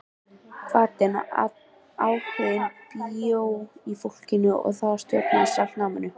Hvatinn, áhuginn bjó í fólkinu og það stjórnaði sjálft náminu.